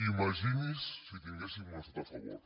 imagini’s si tinguéssim un estat a favor